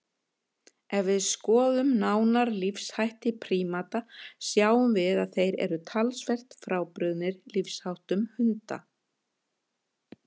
Ef við skoðum nánar lífshætti prímata sjáum við að þeir eru talsvert frábrugðnir lífsháttum hunda.